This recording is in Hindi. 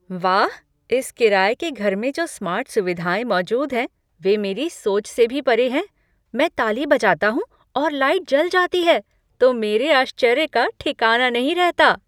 वाह, इस किराये के घर में जो स्मार्ट सुविधाएँ मौजूद हैं वे मेरी सोच से भी परे हैं। मैं ताली बजाता हूँ और लाइट जल जाती है तो मेरे आश्चर्य का ठिकाना नहीं रहता।